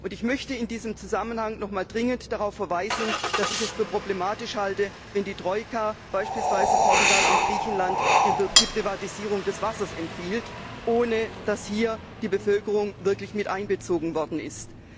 Ich möchte in diesem Zusammenhang nochmals dringend darauf verweisen, dass ich es für problematisch halte, wenn die Troika beispielsweise Portugal und Griechenland die Privatisierung des Wassers empfiehlt, ohne dass hier die Bevölkerung wirklich miteinbezogen worden ist!